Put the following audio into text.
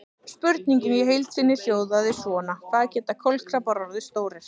Spurningin í heild sinni hljóðaði svona: Hvað geta kolkrabbar orðið stórir?